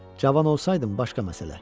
Cavan olsaydım başqa məsələ.